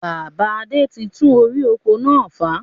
Bàbá Adé tí tún orí oko náà fà